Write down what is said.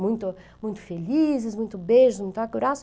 muito muito felizes, muito beijos, muito abraços.